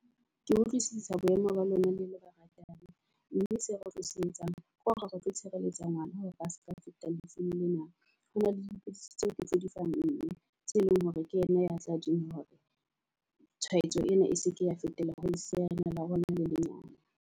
Ke utlwisisa bo emo ba lona le le baratani mme se otlo se etsang ke hore re tlo tshireletsa ngwana hore ba seka feta lefung lena. Ho na le dipidisi tseo ke tse di fang mme tse leng hore ke yena ya tla di nwa hore tshwaetso ena e seke ya fetela ho lesea lena la rona le lenyane.